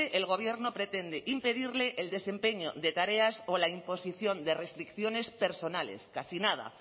el gobierno pretende impedirle el desempeño de tareas o la imposición de restricciones personales casi nada